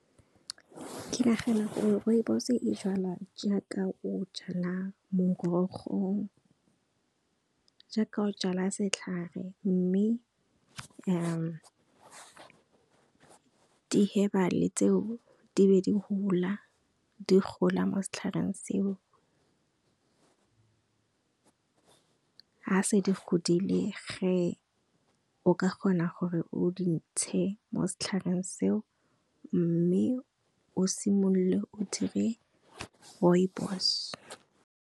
Ke nagana gore Rooibos e jalwa jaaka o jala morogo, jaaka o jala setlhare. Mme di hebale tseo di be di hula, di gola mo setlhareng seo. Ha se di godile ge, o ka kgona gore o di ntshe mo setlhareng seo mme o simolole o dire Rooibos.